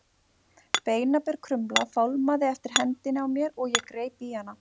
Beinaber krumla fálmaði eftir hendinni á mér og ég greip í hana.